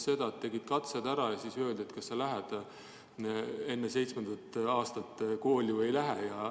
Sa tegid katsed ära ja siis öeldi, kas sa lähed enne seitsmendat eluaastat kooli või ei lähe.